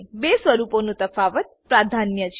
બે સ્વરૂપોનું તફાવત પ્રાધાન્ય છે